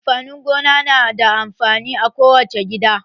Amfanin gona na da amfani a ko wace gida.